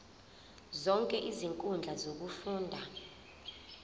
zonke izinkundla zokufunda